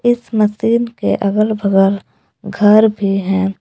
इस मशीन के अगल बगल घर भी है।